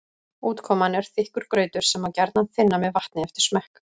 Útkoman er þykkur grautur sem má þynna með vatni eftir smekk.